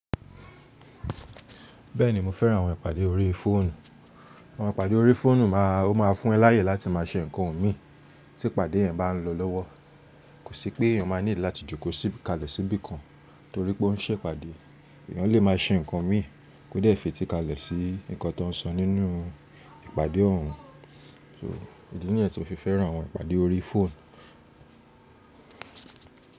Bẹ́ẹ̀ni mo fẹ́ran àwọn ìpàdé orí fóònù. Àwọn ìpàdé orí fóònù máa, ó ma fún ẹ láàyè láti má a se ǹkan o mi tí ìpàdé yẹn bá ń lọ lọ́wọ́. Kò sí pé eèyàn máa need láti jókòó sí kalẹ̀ síbi kan torí pé ó ń se ìpàdé. Ẹ̀yàn lè máa se ǹkan mi kódé ẹ̀fi tí kalẹ̀ sí nǹkan tó ń sọ nínú ìpàdé òun. Idí ni yen tí mo fi fẹ́ran àwọn ìpàdé orí fóònù.